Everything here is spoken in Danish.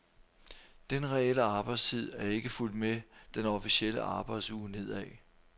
Den reelle arbejdstid er ikke fulgt med den officielle arbejdsuge nedad.